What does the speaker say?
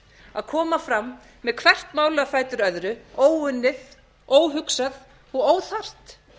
að koma fram með hvert málið á fætur öðru óunnið óhugsað og óþarft